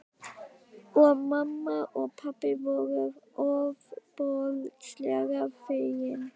Og mamma og pabbi voru ofboðslega fegin.